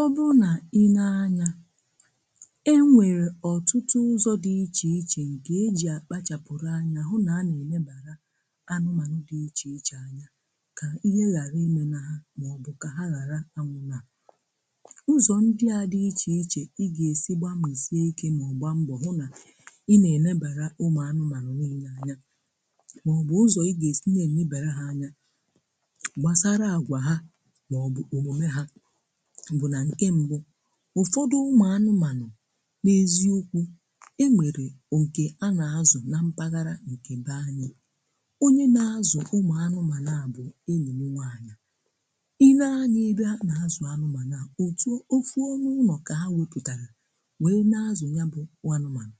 ọ̀bụ̀rụ̀ nà ị nēe anya, e nwèrè ọtụtụ̀ ụzọ̀ dị iche iche ike e ji akpachàpụ̀rụ̀ anya, hụ̀ nà a na-enèbara ụmụ̀ anụ̀manụ̀ dị iche iche anya kà ihe ghàrà ime nà ha, maọ̀bụ̀ kà ha ghàrà ànụ̀ nà ụzọ̀ ndị a dị iche iche. um Ị gà-èsi gba mìzie ike, maọ̀bụ̀ hụ̀ nà ị na-enèbara ụmụ̀ anụ̀manụ̀ dị iche anya, maọ̀bụ̀ ụzọ̀ ị gà-èsi, ndị na-enèbara ha anya gbasàrà... àgwà ha maọ̀bụ̀ omume ha. Ụfọdụ̀ ụmụ̀ anụ̀manụ̀ n’èzi ụ̀kwù e mèrè òtù a na-àzụ̀ nà mpaghara ebe anyị̀. Onye na-àzụ̀ ụmụ̀ anụ̀manụ̀ bụ̀ enyinwù anyị̀. Ị nēe anya ebe a na-àzụ̀ anụ̀manụ̀ à, òtù òfù onye ụ̀nọ̀ ka ha wepụ̀tàrà wee na-àzụ̀nye. Bụ̀ n’anụ̀manụ̀